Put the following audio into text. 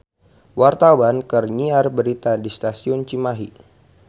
Wartawan keur nyiar berita di Stasiun Cimahi